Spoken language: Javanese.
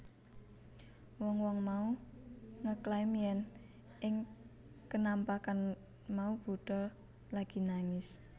Wong wong mau ngeklaim yèn ing kenampakan mau Buddha lagi nangis